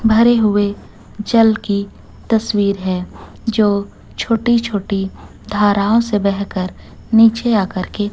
भरे हुए जल की तस्वीर है जो छोटी छोटी धाराओं से बह कर नीचे आकर के--